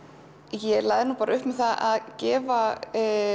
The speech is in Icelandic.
ég lagði upp með að gefa